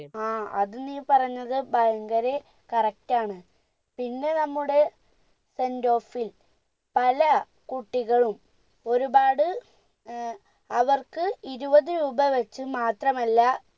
അത് നീ പറഞ്ഞത് ഭയങ്കരെ correct ആണ് പിന്നെ നമ്മുടെ sendoff ൽ പലകുട്ടികളും ഒരുപാട് ഏർ അവർക്ക് രൂപ വച്ച് മാത്രമല്ല